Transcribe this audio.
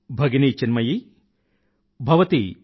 Bhagini Chinmayi